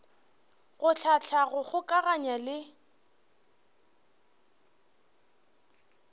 go hlahla go kgokaganya le